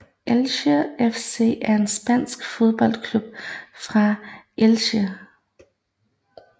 Elche CF er en spansk fodboldklub fra Elche